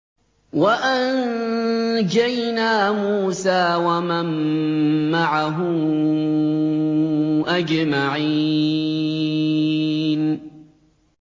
وَأَنجَيْنَا مُوسَىٰ وَمَن مَّعَهُ أَجْمَعِينَ